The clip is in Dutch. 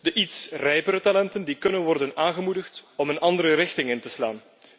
De iets rijpere talenten kunnen worden aangemoedigd een andere richting in te slaan.